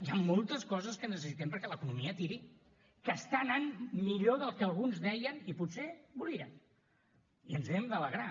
hi han moltes coses que necessitem perquè l’economia tiri que està anant millor del que alguns deien i potser volien i ens n’hem d’alegrar